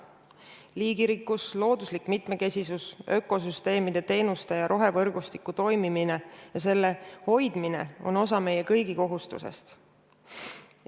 Liigirikkus, looduslik mitmekesisus, ökosüsteemide teenuste ja rohevõrgustiku toimimine ja selle hoidmine on osa meie kõigi kohustusest.